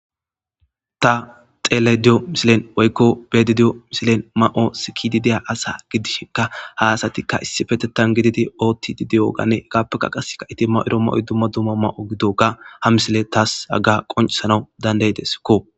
ta xelayde diyo misilen woykko beedidiyo misilen ma7o sikidideya asa gidishinka ha asatikka issi fetettan gididi ootti dideyoganne egaappeka qaseka iti ma eromma oy dumma dumma ma7o gidoga ha misile taas hagga qoncisanau dandayedeskko